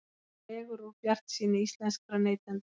Dregur úr bjartsýni íslenskra neytenda